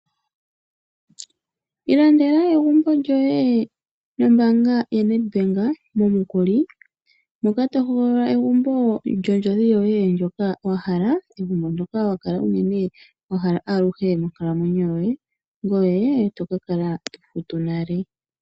Ilandela egumbo lyoye nombaanga yaNedBank momukuli moka to hogolola egumbo lyondjodhi yoye ndyoka wa hala . Egumbo ndyoka wa kala unene wahala monkalamwenyo yoye ngoye etoka kala to futu nale.